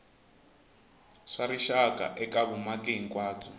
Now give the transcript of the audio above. swa rixaka eka vumaki hinkwabyo